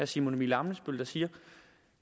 simon emil ammitzbøll der siger